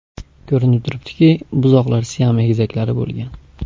Ko‘rinib turibdiki, buzoqlar Siam egizaklari bo‘lgan.